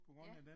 Ja